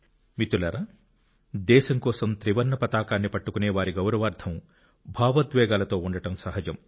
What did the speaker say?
మిత్రులారా దేశం కోసం త్రివర్ణ పతాకాన్ని పట్టుకునే వారి గౌరవార్థం భావోద్వేగాలతో ఉండడం సహజం